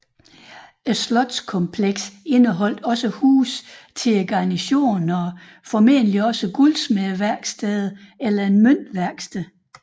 Slotskomplekset indeholdt også huse til garnisonen og formentlig guldsmedeværksteder eller et møntværksted